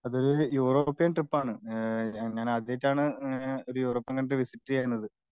അത് യൂറോപ്യൻ ട്രിപ്പാണ്. ഞാൻ ആദ്യായിട്ടാണ് ഒരു യൂറോപ്യൻ കൺട്രി വിസിറ്റ് ചെയ്യുന്നത്.